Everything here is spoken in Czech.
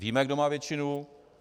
Víme, kdo má většinu.